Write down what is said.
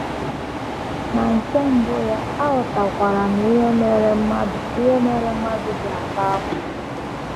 Na um nke mbụ ya, aghọtakwara um m ihe mere mmadụ ihe mere mmadụ um ji ata ahụhụ.